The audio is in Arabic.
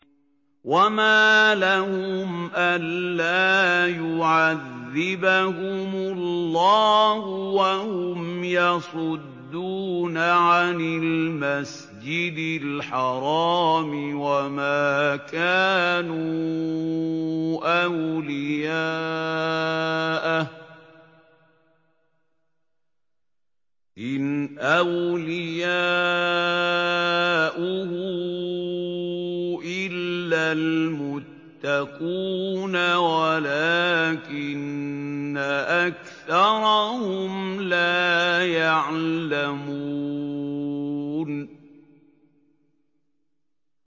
وَمَا لَهُمْ أَلَّا يُعَذِّبَهُمُ اللَّهُ وَهُمْ يَصُدُّونَ عَنِ الْمَسْجِدِ الْحَرَامِ وَمَا كَانُوا أَوْلِيَاءَهُ ۚ إِنْ أَوْلِيَاؤُهُ إِلَّا الْمُتَّقُونَ وَلَٰكِنَّ أَكْثَرَهُمْ لَا يَعْلَمُونَ